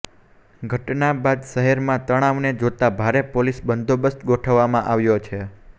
ઘટના બાદ શહેરમાં તણાવને જોતા ભારે પોલીસ બંદોબસ્ત ગોઠવવામાં આવ્યો છે